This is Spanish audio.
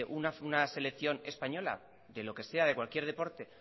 una selección española de lo que sea de cualquier deporte